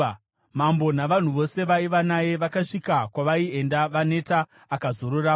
Mambo navanhu vose vaiva naye vakasvika kwavaienda vaneta. Akazororapo.